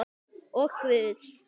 Og Guðs.